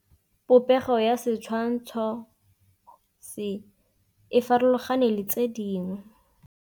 Popêgo ya setshwantshô se, e farologane le tse dingwe.